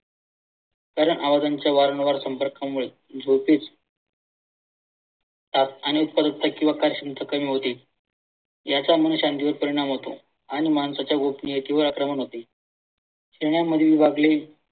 कारण आवाजांच्या वारंवार संपर्कामुळे झोपेस त्यात अनेक रित्या किंवा होती. याच्या मुळे परिणाम होतो आणि माणसाच्या गोपनीय किंव्हा अप्रमाण होते शहरांमध्ये विभागले